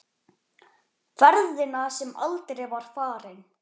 Ferðina sem aldrei var farin.